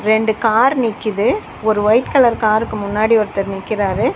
ரெண்டு கார் நிக்கிது ஒரு ஒயிட் கலர் கார்ருக்கு முன்னாடி ஒருத்தர் நிக்குறாரு.